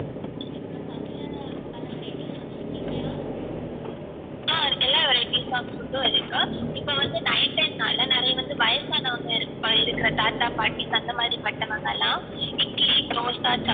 ஆஹ் எல்லா varieties of food உம் இருக்கு இப்போ வந்து night time னால நிறைய வந்து வயசு ஆனவங்க இருக்குர தாத்தா பாட்டி அந்த மாதிரி பட்டவங்கலாம் இட்லி தோசை